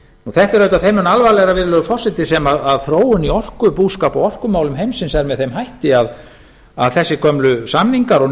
þetta er auðvitað þeim mun alvarlegra virðulegi forseti þar sem þróun í orkubúskap og orkumálum heimsins er með þeim hætti að þessi gömlu samningar og